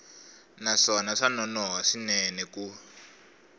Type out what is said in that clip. naswona swa nonoha swinene ku